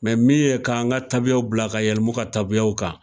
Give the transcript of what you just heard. min ye ka an ka tabiyaw bila ka yɛlɛma u ka tabiyaw kan.